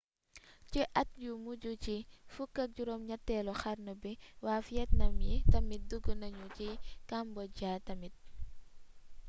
ci at yu mujj ci 18eelu xarnu bi waa vietnam yi tamit dug nañu ci cambodia tamit